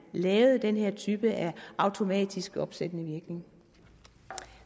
lavede den her type af automatisk opsættende virkning